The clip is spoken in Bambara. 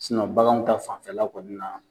banganw ta fanfɛla kɔni na.